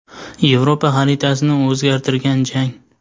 Yevropa xaritasini o‘zgartirgan jang.